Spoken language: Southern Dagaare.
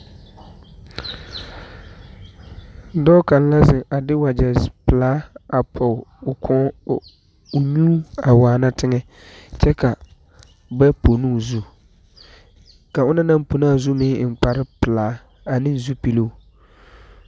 Dɔɔ kaŋ la ziŋ de wagyɛ pilaa pɔg o nyuu a waana tiŋɛ kyɛ ka ba pono o zu, a onɔŋ naŋ pono o zu eŋ la kparre pilaa ane zupiloo.